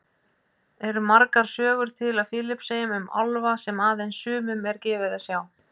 Eru margar sögur til á Filippseyjum um álfa sem aðeins sumum er gefið að sjá?